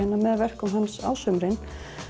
með verkum hans á sumrin